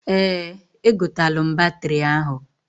Eeǃ Egotalụ m batịrị ahụ.